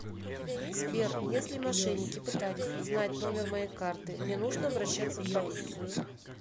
сбер если мошенники пытались узнать номер моей карты мне нужно обращаться в полицию